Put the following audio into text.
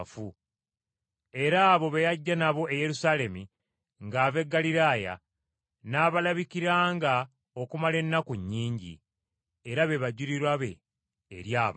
Era abo be yajja nabo e Yerusaalemi ng’ava e Ggaliraaya n’abalabikiranga okumala ennaku nnyingi. Era be bajulirwa be eri abantu.